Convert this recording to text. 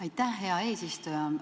Aitäh, hea eesistuja!